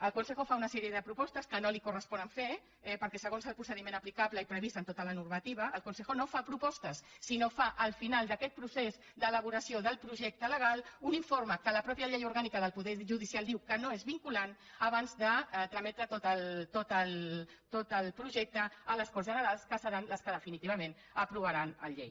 el consejoponen fer perquè segons el procediment aplicable i previst en tota la normativa el consejopostes sinó que fa al final d’aquest procés d’elaboració del projecte legal un informe que la mateixa llei orgànica del poder judicial diu que no és vinculant abans de trametre tot el projecte a les corts generals que seran les que definitivament aprovaran la llei